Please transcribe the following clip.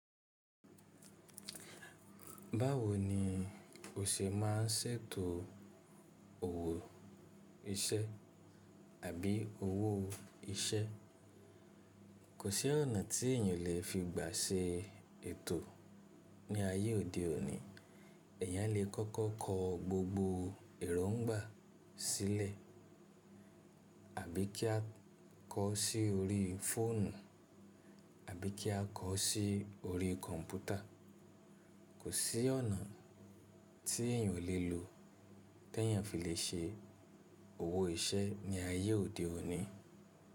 Báwo ni o ṣe má n ṣètò òwò ìṣẹ́ àbí owó iṣẹ́? Kò sí ọ̀nà tí èèyàn lè fi gba ṣe ètò ní ayé òde òní, èèyàn lè kọ́kọ́ kọ gbogbo èróńgbà sílẹ̀ àbí kí a kọ ọ́ sí orí fóònù àbí kí a kọ ọ́ sí orí kọ̀ǹpútà. Kò sí ọ̀nà tí èèyàn o lè lo ti èèyàn fi lè ṣe òwò iṣẹ́ ní ayé òde òní.